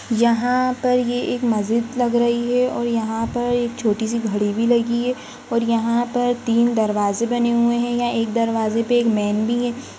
यहाँ पर ये एक मस्जिद लग रही है और यहाँ पर एक छोटी सी घडी भी लगी है और यहाँ पर तीन दरवाजे बने हुए है या एक दरवाजे पे एक मैन भी है।